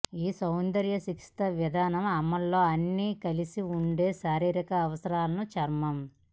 ఈ సౌందర్య చికిత్సా విధానం అమలులో అన్ని కలిసే ఉంది శారీరక అవసరాలను చర్మం